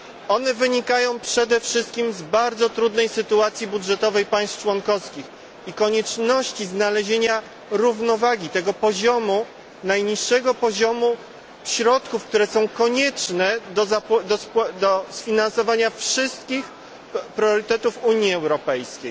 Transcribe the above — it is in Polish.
One wynikają przede wszystkim z bardzo trudnej sytuacji budżetowej państw członkowskich i konieczności znalezienia równowagi, tego poziomu, najniższego poziomu środków, które są konieczne do sfinansowania wszystkich priorytetów Unii Europejskiej.